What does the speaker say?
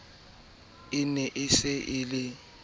e ne se e le